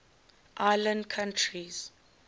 island countries